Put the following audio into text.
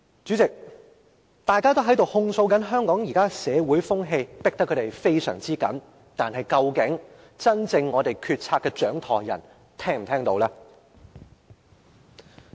主席，大家都在控訴香港現時的社會風氣逼得他們太緊，但究竟真正的決策掌舵人是否聽得見？